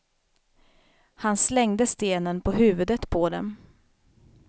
Han slängde stenen på huvudet på dem.